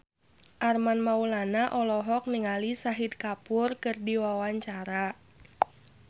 Armand Maulana olohok ningali Shahid Kapoor keur diwawancara